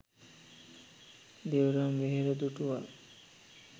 Devram Vehera දුටුවා.